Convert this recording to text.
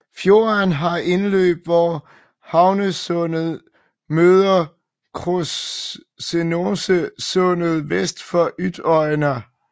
Fjorden har indløb hvor Hanesundet møder Krossnessundet vest for Øyna